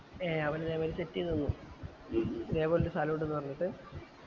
ഏ അവല് level set ചെയ്തന്നു ഇതേ പൊലൊരു സ്ഥലം ഇണ്ട് ന്ന് പറഞ്ഞിട്ട്